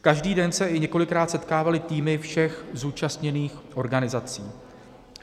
Každý den se i několikrát setkávaly týmy všech zúčastněných organizací.